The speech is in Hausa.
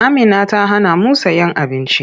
Amina ta hanamu sayen abinci.